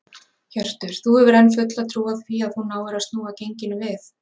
Hjörtur: Þú hefur enn fulla trú á því að þú náir að snúa genginu við?